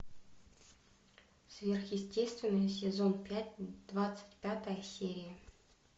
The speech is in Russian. сверхъестественное сезон пять двадцать пятая серия